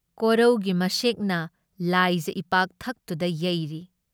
ꯀꯣꯔꯧꯒꯤ ꯃꯁꯦꯛꯅ ꯂꯥꯏꯖ ꯏꯄꯥꯛꯊꯛꯇꯨꯗ ꯌꯩꯔꯤ ꯫